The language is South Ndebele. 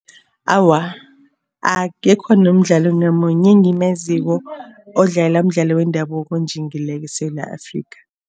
Awa, akekho nomdlalo namunye engimaziko odlala umdlalo wendabuko onjingileko eSewula Afrikha.